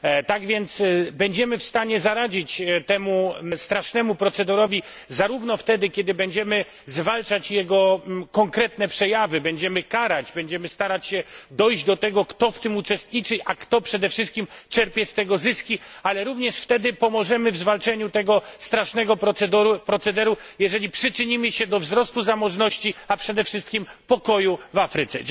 Tak więc będziemy w stanie zaradzić temu strasznemu procederowi zarówno wtedy, kiedy będziemy zwalczać jego konkretne przejawy, będziemy karać, będziemy starać się dojść do tego, kto w tym uczestniczy, a kto przede wszystkim czerpie z tego zyski, ale również wtedy pomożemy w zwalczeniu tego strasznego procederu, jeżeli przyczynimy się do wzrostu zamożności, a przede wszystkim do pokoju w Afryce.